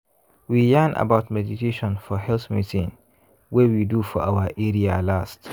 we yarn about meditation for health meeting wey we do for our area last.